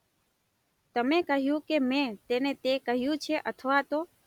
તમે કહ્યું કે મેં તેને તે કહ્યું છે અથવા તો...